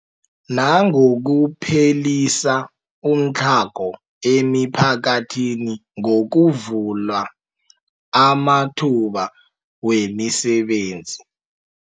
Nangokuphelisa umtlhago emiphakathini ngokuvula amathuba wemisebenzi.